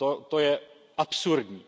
To je absurdní.